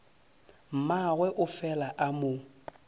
mmagwe a fela a mo